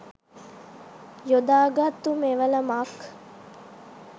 යොදා ගත්තු මෙවලමක්.